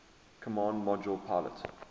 command module pilot